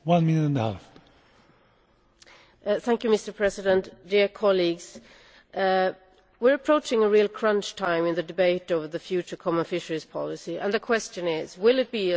Mr President, dear colleagues, we are approaching a real crunch time in the debate over the future common fisheries policy, and the question is will it be a success, or will it continue to be a disaster?